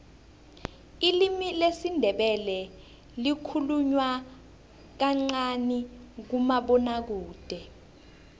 ilimi lesindebele likhulunywa kancani kumabonwakude